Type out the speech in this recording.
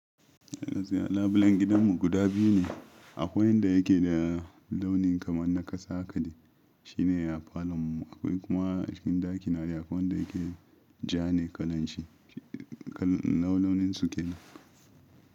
Labulen gidanmu guda biyu ne, akwai wanda yake da launin kamar na kasa haka shi ne a falon mu. Akwai kuma a cikin ɗakina ni akwai wanda yake ja ne kalanshi kalan launin su kenan.